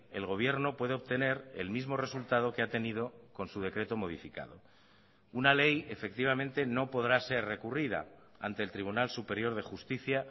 el gobierno puede obtener el mismo resultado que ha tenido con su decreto modificado una ley efectivamente no podrá ser recurrida ante el tribunal superior de justicia